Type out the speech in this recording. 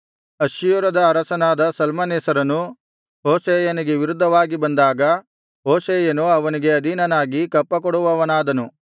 ಅಶ್ಶೂರದ ಅರಸನಾದ ಶಲ್ಮನೆಸರನು ಹೋಶೇಯನಿಗೆ ವಿರುದ್ಧವಾಗಿ ಬಂದಾಗ ಹೋಶೇಯನು ಅವನಿಗೆ ಅಧೀನನಾಗಿ ಕಪ್ಪಕೊಡುವವನಾದನು